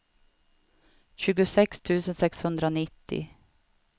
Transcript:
tjugosex tusen sexhundranittio